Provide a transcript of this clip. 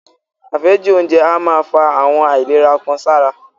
Àfẹ́jù oúnjẹ a máa fa àwọn àìlera kan sára.